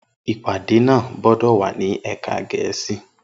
Ipade naa gbọdọ wa ni ẹka Gẹẹsi!